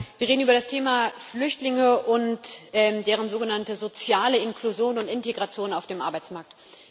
Wir reden über das Thema Flüchtlinge und deren sogenannte soziale Inklusion und Integration auf dem Arbeitsmarkt.